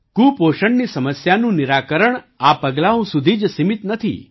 કુપોષણની સમસ્યાનું નિરાકરણ આ પગલાંઓ સુધી જ સીમિત નથી